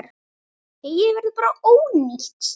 Heyið verður bara ónýtt.